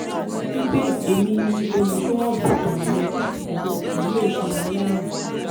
wípé "ẹ̀mi ni olùṣọ́ àgùntàn rẹ ìwọ kì yíò ṣe aláìní"